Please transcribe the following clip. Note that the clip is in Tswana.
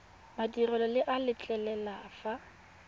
madirelo le a letlelela fa